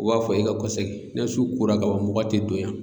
U b'a fɔ e ga kɔ sɛgi ne su kora ka ban mɔgɔ te don yan